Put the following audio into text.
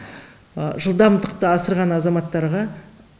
жылдамдықты асырған азаматтарға